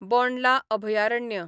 बोंडला अभयारण्य